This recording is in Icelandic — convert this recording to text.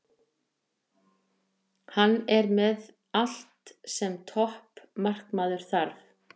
Hann er með allt sem topp markmaður þarf.